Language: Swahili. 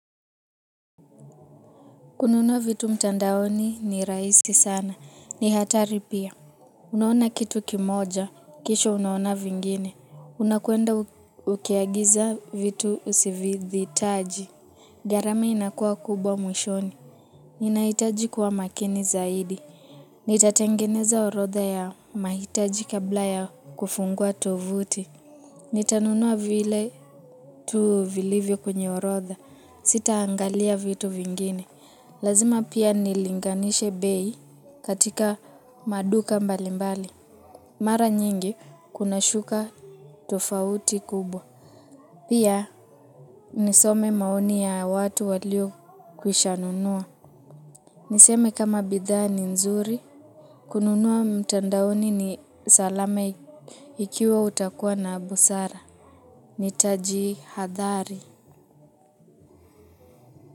Kununua vitu mtandaoni ni raisi sana. Ni hatari pia. Unaona kitu kimoja. Kisha unaona vingine. Unakwenda ukiagiza vitu usivithi taji. Garama inakua kubwa mwishoni. Ninahitaji kuwa makini zaidi. Nitatengeneza orotha ya mahitaji kabla ya kufungua tuvuti. Nitanunua vile tu vilivyo kwenye orodha. Sita angalia vitu vingine. Lazima pia nilinganishe bei katika maduka mbalimbali. Mara nyingi kuna shuka tofauti kubwa. Pia nisome maoni ya watu walio kwishanunua. Niseme kama bidhaa ni nzuri. Kununua mtandaoni ni salame ikiwa utakuwa na busara. Nitaji hadhari.